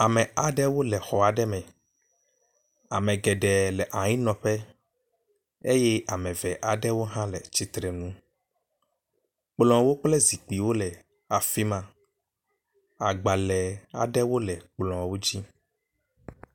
Ame aɖewo le xɔ aɖe me. Ame geɖe le anyinɔƒe eye ame eve aɖewo hã le tsitre nu. Kplɔwo kple zikpuiwo le afi ma. Agbale aɖewo le kplɔwo dzi.